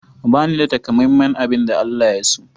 Bani da takamaiman abin da Allah ya so.